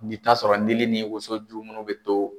I bi taa sɔrɔ ndili ni woso ju munnu bi to